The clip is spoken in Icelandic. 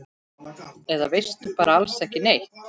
Eða bara alls ekki neitt?